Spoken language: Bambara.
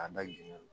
A da jiginnen